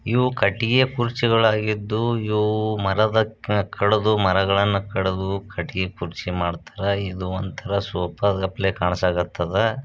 ಇದು ಕಟ್ಟಿಗೆ ಕುರ್ಚಿಗಳು ಆಗಿದ್ದು ಮರಗಳನ್ನು ಕಡೆದು ಕಟ್ಟಿಗೆ ಮಾಡಿದ್ದಾರೆಮರಗಳನ್ನು ಕಡೆದು ಕಟ್ಟಿಗೆ ಮಾಡಿದ್ದಾರೆ ಇದು ಒಂತರ ಸೋಫಾ ಗಪ್ಲೆ ಕಣ್ಸಕತ್ತದ.